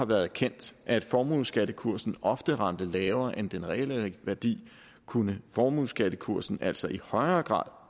været kendt at formueskattekursen ofte ramte lavere end den reelle værdi kunne formueskattekursen altså i højere grad